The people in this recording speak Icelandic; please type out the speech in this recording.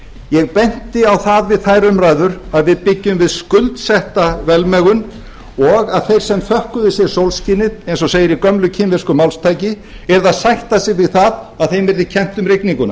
ég benti á það við þær umræður að við byggjum við skuldsetta velmegun og að þeir sem þökkuðu sér sólskinið eins og segir í gömlu kínversku máltæki yrðu að sætta sig við það að þeim yrði kennt um rigninguna